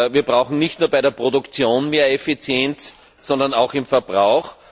Wir brauchen nicht nur bei der Produktion mehr Effizienz, sondern auch beim Verbrauch.